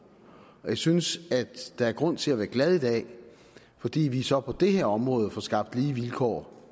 jeg synes at der er grund til at være glad i dag fordi vi så på det her område får skabt lige vilkår